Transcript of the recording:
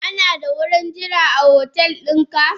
Ana da wurin jira a hotel dinka?